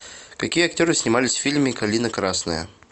какие актеры снимались в фильме калина красная